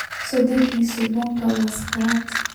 Sodokso bukanka wa sakarat .